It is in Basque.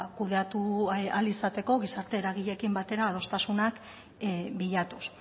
kudeatu ahal izateko gizarte eragileekin batera adostasunak bilatuz